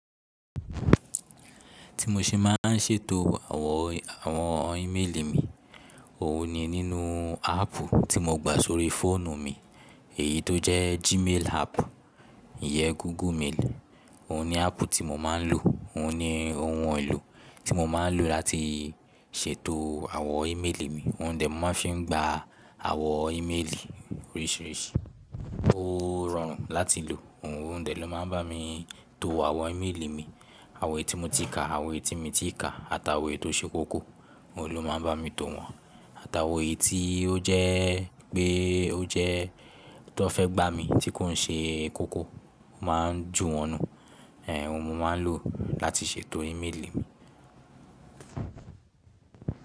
Ti mo ṣe máa ń ṣètò àwọn, àwọn íméèlì mi, òhun ni nínú áàpù tí mo gbà sórí fóònù mi, èyí tó jẹ́ Gmail app, ìyẹ Google Mail. Òhun ni áàpù tí mo máa ń lò, òhun ni ohun èlò tí mo máa ń lò láti ṣètò àwọn íméèlì mi. Òun dè mó máa ń fi gba àwọn íméèlì oríṣìíríṣìí. Ó rọrùn láti lò, òhun òun dè ló máa ń bá mi to àwọn íméèlì mi, àwọn ètí mo ti kà, àwọn ètí mi ti kà àtàwọn ètí ó ṣe kókó, òhun ló máa ń bá mi tó wọn. Àtàwọn èyí tí ó jẹ́ pé ó jẹ́ tó fẹ́ gbà mí tí kò ń ṣe kókó, a máa ń jù wọnú. Óhun mo máa ń lò láti ṣètò íméèlì mi.